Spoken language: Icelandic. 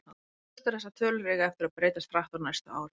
Ljóst er að þessar tölur eiga eftir að breytast hratt á næstu árum.